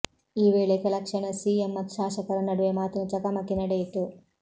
ಈ ವೇಳೆ ಕೆಲ ಕ್ಷಣ ಸಿಎಂ ಮತ್ತು ಶಾಸಕರ ನಡುವೆ ಮಾತಿನ ಚಕಮಕಿ ನಡೆಯಿತು